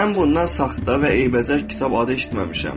Mən bundan saxta və eybəcər kitab adı eşitməmişəm.